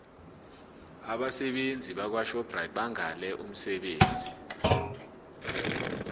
abasebenzi bakwashoprite bangale umsebenzi